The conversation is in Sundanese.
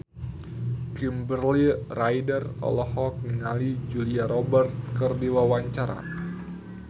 Kimberly Ryder olohok ningali Julia Robert keur diwawancara